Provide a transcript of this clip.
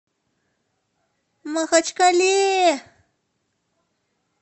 махачкале